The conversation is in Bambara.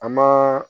A ma